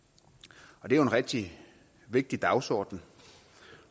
det er jo en rigtig vigtig dagsorden